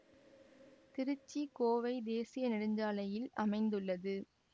திருச்சி கோவை தேசிய நெடுஞ்சாலையில் அமைந்துள்ளது